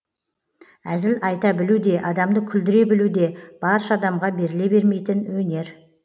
әзіл айта білу де адамды күлдіре білу де барша адамға беріле бермейтін өнер